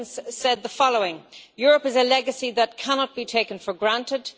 Higgins, said the following Europe is a legacy that cannot be taken for granted.